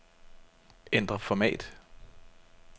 Ændr format.